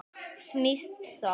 Snýst þá